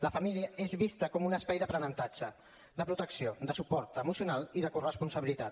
la família és vista com un espai d’aprenentatge de protecció de suport emocional i de corresponsabilitat